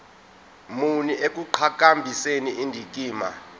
muni ekuqhakambiseni indikimba